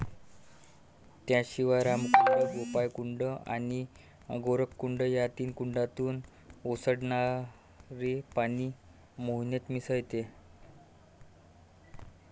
त्याशिवाय रामकुंड, गोपाळकुंड आणि गोरखकुंड या तीन कुंडातून ओसंडनणरे पाणी मोहनेत मिसळते.